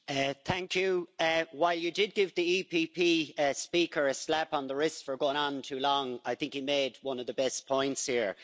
Madam President, while you did give the EPP speaker a slap on the wrist for going on too long, I think he made one of the best points here.